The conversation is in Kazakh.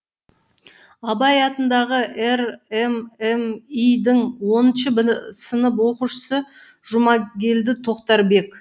абай атындағы рмми дің оныншы б сынып оқушысы жұмагелді тоқтарбек